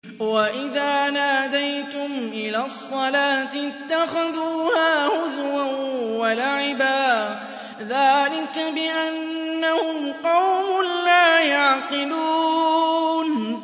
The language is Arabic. وَإِذَا نَادَيْتُمْ إِلَى الصَّلَاةِ اتَّخَذُوهَا هُزُوًا وَلَعِبًا ۚ ذَٰلِكَ بِأَنَّهُمْ قَوْمٌ لَّا يَعْقِلُونَ